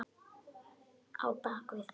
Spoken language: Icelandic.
Á bak við